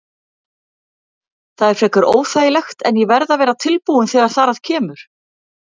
Það er frekar óþægilegt en ég verð að vera tilbúinn þegar þar að kemur.